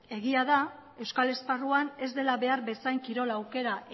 egia da euskal esparruan ez dela behar bezain kirol aukera